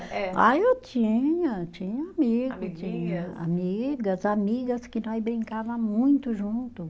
Ah, eu tinha, tinha amigo, tinha amigas, amigas que nós brincava muito junto.